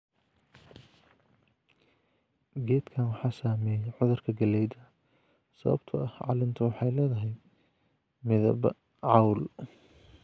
Geedkan waxaa saameeyay cudurka galleyda sababtoo ah caleentu waxay leedahay midab cawl.